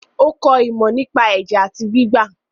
Ó kọ ìmọ̀ nípa ẹ̀jẹ̀ àti gbígbà.